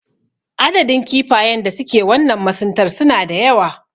Adadin kifayen da suke wannan masuntar suna da yawa.